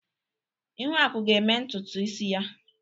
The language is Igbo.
Ihuaku ga-eme ntutu isi ya.